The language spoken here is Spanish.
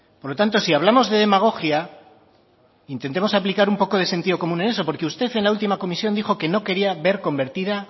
por lo tanto si hablamos de demagogia intentemos aplicar un poco de sentido común en eso porque usted en la última comisión dijo que no quería ver convertida